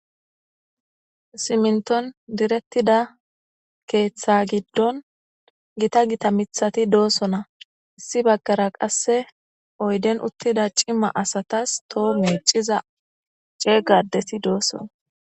siminton direttida keeththa giddon gita gita mithati doosona issi baggara qasse oyden uttida cima asatas toho miiciza ceega adeti doossona